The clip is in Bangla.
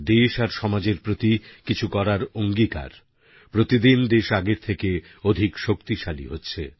দেশ আর সমাজের প্রতি কিছু করার অঙ্গীকার প্রতিদিন দেশ আগের থেকে অধিক শক্তিশালী হচ্ছে